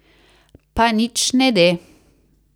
Pa nič ne de.